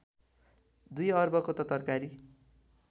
२ अर्बको त तरकारी